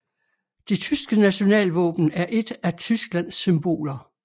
Det tyske nationalvåben er et af Tysklands symboler